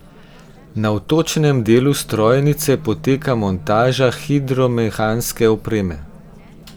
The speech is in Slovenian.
Na vtočnem delu strojnice poteka montaža hidromehanske opreme.